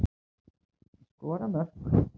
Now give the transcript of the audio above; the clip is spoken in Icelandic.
Skora mörk.